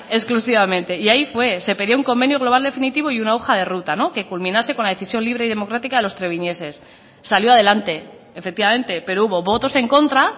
exclusivamente y ahí fue se pidió un convenio global definitivo y una hoja de ruta que culminase con la decisión libre y democrática de los treviñeses salió adelante efectivamente pero hubo votos en contra